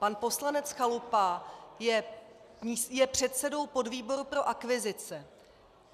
Pan poslanec Chalupa je předsedou podvýboru pro akvizice.